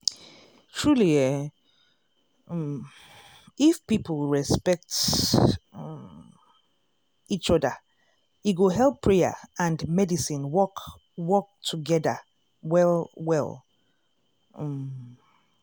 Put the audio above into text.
truely eeh um if people respect um each oda e go help prayer and medicine work work togeda well well um.